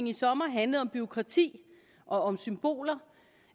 i sommer handlede om bureaukrati og om symboler